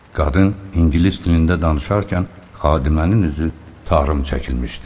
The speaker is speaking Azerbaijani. Qadın ingilis dilində danışarkən xadimənin üzü tarım çəkilmişdi.